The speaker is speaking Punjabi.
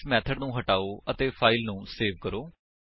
ਹੁਣ ਇਸ ਮੇਥਡ ਨੂੰ ਹਟਾਓ ਅਤੇ ਫਾਇਲ ਨੂੰ ਸੇਵ ਕਰੋ